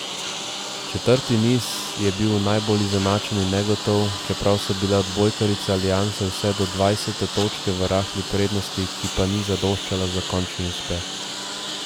Četrti niz je bil najbolj izenačen in negotov, čeprav so bile odbojkarice Alianse vse do dvajsete točke v rahli prednosti, ki pa ni zadoščala za končni uspeh.